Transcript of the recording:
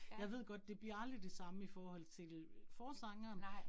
Jeg ved godt, det bliver aldrig det samme i forhold til forsangeren